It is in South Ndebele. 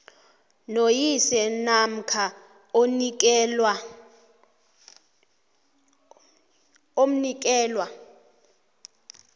noyise namkha omnikelwa